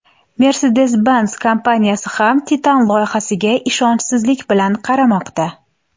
Mercedes-Benz kompaniyasi ham Titan loyihasiga ishonchsizlik bilan qaramoqda.